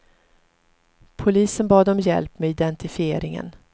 Polisen bad om hjälp med identifieringen.